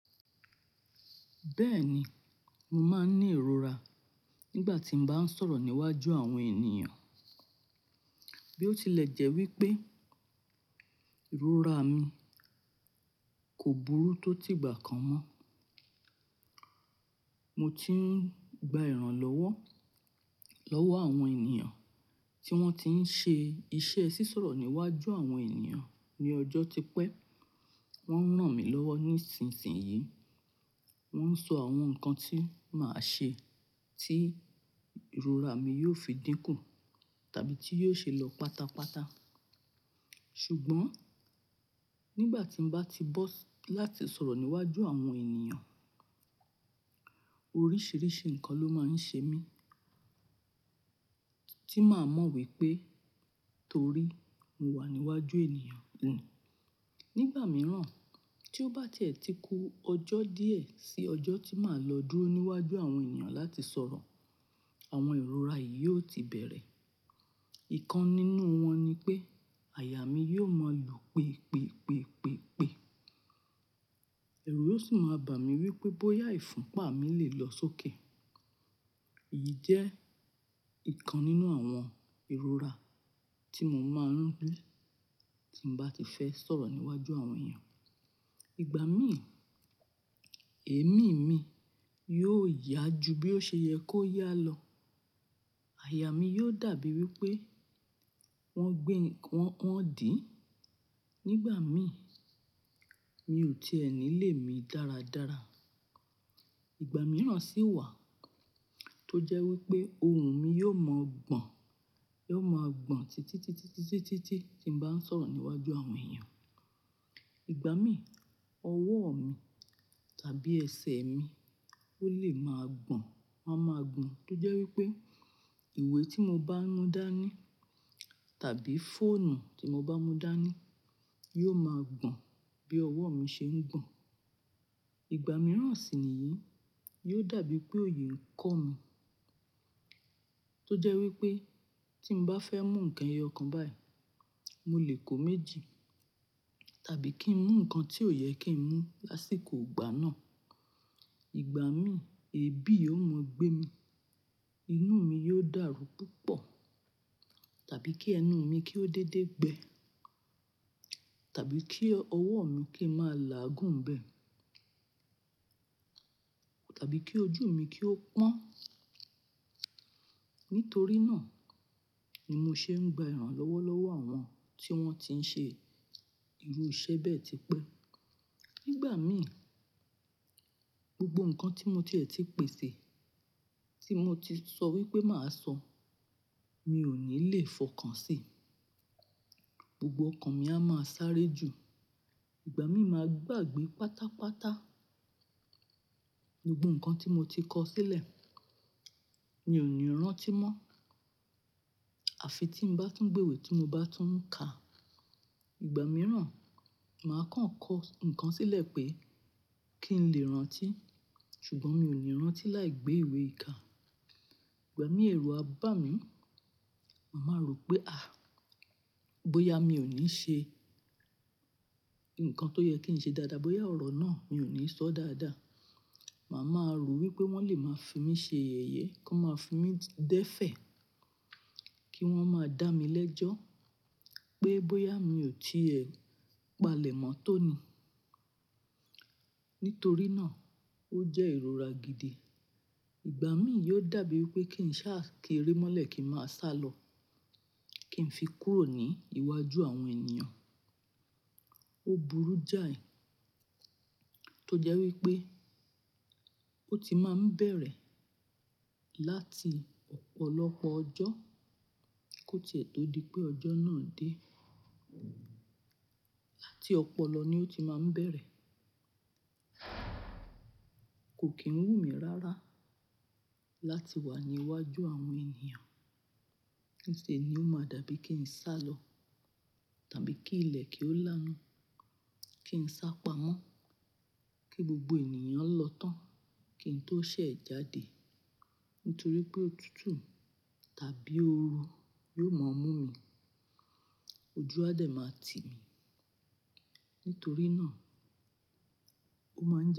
Bẹ́ẹ̀ni, mo máa ń ní ìrora nígbà tí mo bá ń sọ̀rọ̀ níwájú àwọn ènìyàn. Bí ó tilẹ̀ jẹ́ wípé ìrora mi kò burú tó ti ìgbà kan mọ́. Mo ti ń gba ìrànlọ́wọ́ lọ́wọ́ àwọn ènìyàn tí wón ti ń ṣe iṣẹ́ sísọ̀rọ̀ níwájú àwọn ènìyàn ní ọjọ́ tí pẹ́. Wón ń rán mi lọ́wọ́ nísinsìnyí. Wón ń sọ àwọn nǹkan tí màá ṣe tí ìrora mi yóò fi dínkù tàbí tí yóò ṣe lọ pátápátá. Ṣùgbọ́n nígbà tí mo bá ti bọ́ láti sọ̀rọ̀ níwájú àwọn ènìyàn, oríṣìíríṣìí nǹkan ló máa ń ṣe mí tí màá mọ̀ wípé torí mo wà níwájú ènìyàn ni Nígbà mìíràn tí ó bá ti ẹ̀ ti kú ọjọ́ díẹ̀ sí ọjọ́ tí màá lọ dúró níwájú àwọn ènìyàn láti sọ̀rọ̀, àwọn ìrora yìí yóò ti bẹ̀rẹ̀. Ìkan nínú wọn ni pé àyà mi yóò mọ́ lu pèpèpèpèpè. Ẹ̀rù yóò sì máa bá mi wípé bóyá ìfúnpa mi lè lọ sókè. Èyí jẹ́ ìkan nínú àwọn ìrora tí mo máa ń ni tí mo bá ti fẹ́ sọ̀rọ̀ níwájú àwọn ènìyàn. Ìgbà mí, èémí mi yóò yá ju bí ó ṣe yẹ kó yá lọ. Àyà mi yóò dàbí wípé wọ́n gbin-- wọ́n, wọ́n dì í. Nígbà mí, mi ò ti ni lé mi dáradára. Ìgbà mìíràn sì wà tó jẹ́ wípé ohùn mi yóò mọ́ gbọ̀n, yóò máa gbọ̀n títítítítítí tí mo bá ń sọ̀rọ̀ níwájú àwọn ènìyàn. Ìgbà mí ọwọ́ mi tàbí ẹsẹ̀ mi ó lè máa gbọ̀n, a máa gbọ̀n tó jẹ́ wípé ìwé tí mo bá mú dání tàbí fóònù tí mo bá mú dání yóò máa gbọ̀n bí ọwọ́ mi ṣe ń gbọ̀n. Ìgbà mìíràn sì níyìí, yóò dàbí pé òyi ń kọ́ mi tó jẹ́ wípé tí mo bá fẹ́ mú ǹkan eyọ̀kan báyìí, mo lè kó méjì. Tàbí kí n mú nǹkan tí ò yẹ kí n mú lásìkò ìgbà náà. Ìgbà mí èébì yóò mọ́ gbé mi. Inú mi yóò dàrú púpọ̀. Tàbí kí ẹnu mi kí ó dédé gbẹ. Tàbí kí ọwọ́ mi kí í máa làágùn bẹ́ẹ̀. Tàbí kí ojú mi kí ó pọ́n. Nítorí náà ni mo ṣe ń gba ìrànlọ́wọ́ lọ́wọ́ àwọn tí wọ́n ti ń ṣe irú iṣẹ́ bẹ́ẹ̀ tí pé. Nígbà mí gbogbo nǹkan tí mo ti ẹ̀ ti pèsè tí mo ti sọ wípé màá sọ, mi ò ní lè fọkàn sí i. Gbogbo ọkàn mi a máa sáré ju. Ìgbà mí máa gbàgbé pátápátá. Gbogbo nǹkan tí mo ti kọ sílẹ̀, mi ò ní rántí mọ́. Àfi tí mo bá tún gbé ìwé tí mo bá tún ka. Ìgbà mìíràn màá kàn kọ́ nǹkan sílẹ̀ pé kí n lè rántí. Ṣùgbọ́n mi ò ní rántí láì gbé ìwé ìkà. Ìgbà mí ẹ̀rù a bá mi. Màá rò wípé à, bóyá mi ò ní ṣe nǹkan tó yẹ kí n ṣe dáadáa, bóyá ọ̀rọ̀ náà mi ò ní sọ dáadáa. Màá ma rò wípé wọ́n lè máa fi mí ṣe yèye, kí wọ́n máa fi mí dẹ́fẹ̀. Kí wọ́n máa dá mi lẹ́jọ́ pé bóyá mi ò ti ẹ palẹ̀ mọ́tó ni. Nítorí náà ó jẹ́ ìrora gidi. Ìgbà mí yóò dàbí wípé kí n sá kerémọ́lẹ̀ kí ń máa sálọ. Kí n fi kúrò ní iwájú àwọn ènìyàn. Ó burú jáì tó jẹ́ wípé ó ti máa ń bẹ̀rẹ̀ láti ọ̀pọ̀lọpọ̀ ọjọ́ kí ó ti ẹ̀ tó di pé ọjọ́ náà dé. Láti ọ̀pọ̀lọ ni ó ti máa ń bẹ̀rẹ̀. Kò kì ń wù mí rára láti wà ní iwájú àwọn ènìyàn. Nísìnyí ó máa dàbí kí n sálọ. Tàbí kí ilẹ̀ kí ó lá nu. Kí n sá pamọ́. Kí gbogbo ènìyàn lọ tán. Kí n tó ṣẹ̀ jáde. Nítorí pé òtútù tàbí ooru yóò máa mú mi. Ojú àdẹ̀ máa tí mi. Nítorí náà ó máa ń.